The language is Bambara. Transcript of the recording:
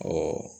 Ɔ